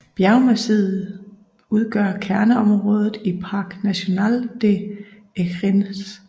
Bjergmassivet udgør kerneområdet i Parc national des Écrins